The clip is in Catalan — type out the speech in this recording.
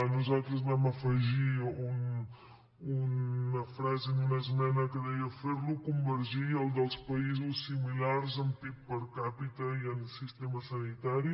nosaltres vam afegir una frase en una esmena que deia ferlo convergir al dels països similars en pib per capita i en sistema sanitari